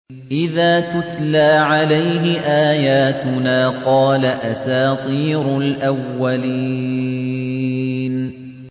إِذَا تُتْلَىٰ عَلَيْهِ آيَاتُنَا قَالَ أَسَاطِيرُ الْأَوَّلِينَ